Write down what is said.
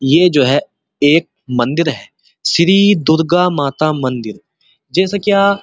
ये जो है एक मंदिर है। श्री दुर्गा माता मंदिर जैसे क्या --